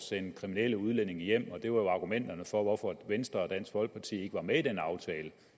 sende kriminelle udlændinge hjem det var jo argumenterne for hvorfor venstre og dansk folkeparti ikke var med i den aftale